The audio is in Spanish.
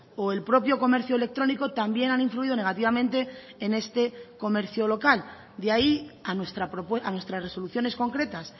o el propio comercio electrónico también han influido negativamente en este comercio local de ahí a nuestras resoluciones concretas